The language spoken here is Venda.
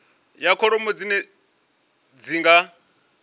ya kholomo dzine dzi nga